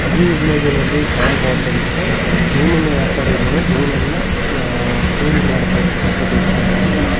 ಈ ಇಮೇಜಿನ ಲ್ಲಿ ಕಾಣಬಹುದೆಂದರೆ ಮೀನು ವ್ಯಾಪಾರಿಗಳು ಮೀನನ್ನ ಕ್ಲೀನ್ ಮಾಡ್ತಾ ಇರುವಂತ ದೃಶ್ಯಾವಳಿಗಳು